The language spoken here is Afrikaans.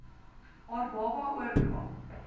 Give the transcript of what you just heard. haar baba oordra